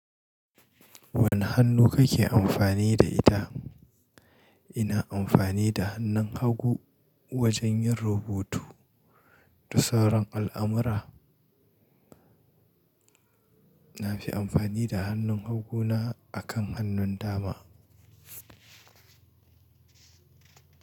Wane hannu kake amfani da ita? Ina amfani da hannun hagu wajen yin rubutu da sauran al'amura. Na fi amfani da hannun haguna akan hannun dama.